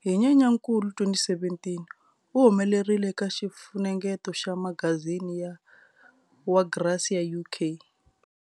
Hi Nyenyankulu 2017, u humelerile eka xifunengeto xa magazini wa"Grazia UK".